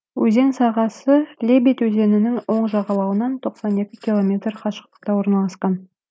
өзен сағасы лебедь өзенінің оң жағалауынан тоқсан екі километр қашықтықта орналасқан